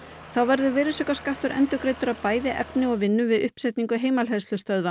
þá verður virðisaukaskattur endurgreiddur af bæði efni og vinnu við uppsetningu